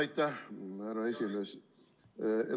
Aitäh, härra esimees!